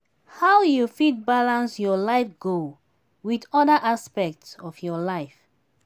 how you fit balance your life goal with oda aspects of your life?